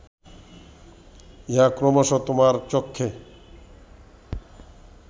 ইহা ক্রমশ তোমার চক্ষে